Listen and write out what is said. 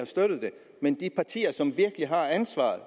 støttet det men det parti som virkelig har ansvaret